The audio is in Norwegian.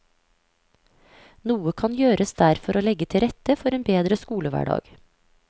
Noe kan gjøres der for å legge til rette for en bedre skolehverdag.